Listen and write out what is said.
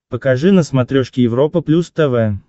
покажи на смотрешке европа плюс тв